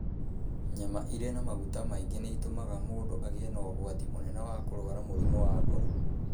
Nyama irĩ na maguta maingĩ nĩ itũmaga mũndũ agĩe na ũgwati mũnene wa kũrũara mũrimũ wa ngoro.